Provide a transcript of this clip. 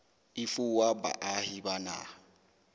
e fuwa baahi ba naha